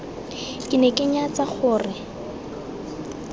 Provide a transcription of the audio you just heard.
ke ne ke nyatsa gore